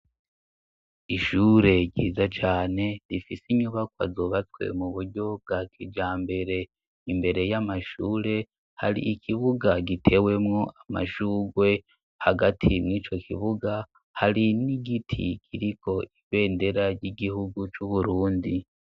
Ishure ryiza cane rifis' inyubakwa zubatse mu buryo bwa kijambere, imbere y'amashure hari ikibuga gitewemwo amashugwe, hagati mw'ico kibuga hari n'igiti kiriko ibendera ry'igihugu c'uBurundi